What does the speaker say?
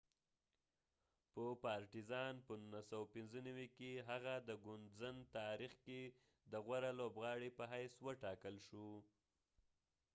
په 1995 کې هغه د ګوندزن partizan په تاریخ کې د غوره لوبغاړی په حیث و ټاکل شو